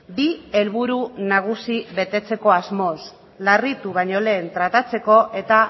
bi helburu nagusi betetzeko asmoz larritu baino lehen tratatzeko eta